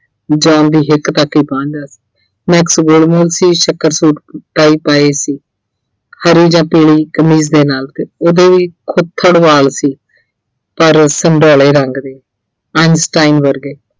John ਦੀ ਹਿੱਕ ਤੱਕ ਹੀ ਪਹੁੰਚਦਾ ਸੀ। Max ਗੋਲਮੋਲ ਸੀ ਸ਼ਕਲ ਸੂਰਤ ਸੀ। ਹਰੀ ਜਾਂ ਪੀਲੀ ਕਮੀਜ਼ ਦੇ ਨਾਲ ਤੇ ਉਹਦੇ ਵੀ ਵਾਲ ਸੀ। ਪਰ ਰੰਗ ਦੇ Einstein ਵਰਗੇ